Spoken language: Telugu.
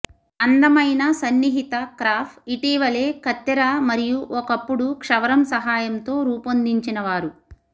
అందమైన సన్నిహిత క్రాఫ్ ఇటీవలే కత్తెర మరియు ఒకప్పుడు క్షవరం సహాయంతో రూపొందించినవారు